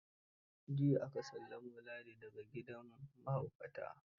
Jiya aka sallamo Ladi da ga gidan mahaukata.